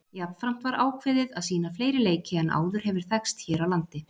Jafnframt var ákveðið að sýna fleiri leiki en áður hefur þekkst hér á landi.